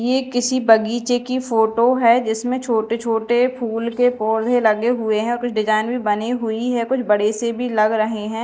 ये किसी बगीचे की फोटो है जिसमें छोटे छोटे फूल के पौधे लगे हुए हैं कुछ डिजाइन भी बनी हुई हैं कुछ बड़े से भी लग रहे हैं।